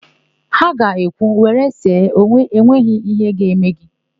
Ha ga ekwu, "were see, enweghị íhé ga-eme gị"!